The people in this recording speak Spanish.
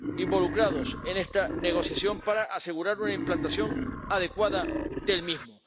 involucrados en esta negociación, para asegurar una implantación adecuada del mismo.